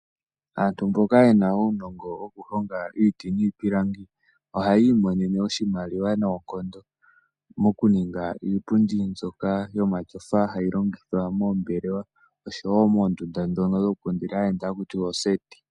Aantu mboka yena uunongo woku honga iiti niipilangi ohaya imonene oshimaliwa noonkondo moku ninga iipundi mbyoka yomatyofa hayi longithwa moombelewa oshowo moondunda ndhono dhoku kundila aayenda haku tiwa ooseti.